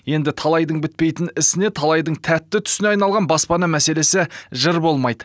енді талайдың бітпейтін ісіне талайдың тәтті түсіне айналған баспана мәселесі жыр болмайды